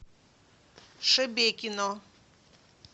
шебекино